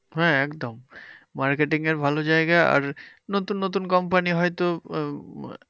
হ্যাঁ একদম marketing এর ভালো জায়গা। আর নতুন নতুন কোম্পানি হয়তো